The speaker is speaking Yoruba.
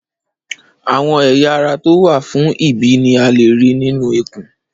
Àwọn ẹ̀yà ara to wa fún ìbí ni a léè rí nínú ikùn